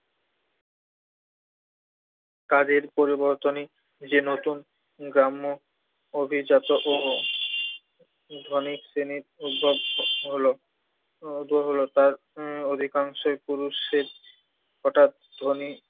তাদের পরিবর্তনই যে নতুন গ্রাম্য অভিজাত ও ধনী শ্রেণির উদ্ভব হলো। উদ্ভব হলো তার অধিকাংশের পুরুষের হঠাৎ ধনী